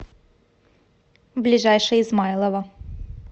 ближайший измайлово